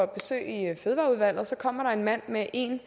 besøg i fødevareudvalget og så kom der en mand med en